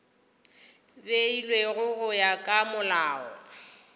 beilwego go ya ka molao